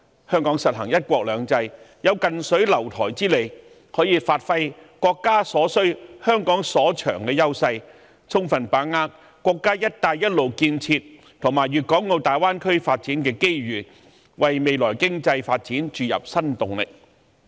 香港實行"一國兩制"，有近水樓臺之利，可以發揮國家所需、香港所長的優勢，充分把握國家"一帶一路"建設，以及粵港澳大灣區發展的機遇，為未來經濟發展注入新動力。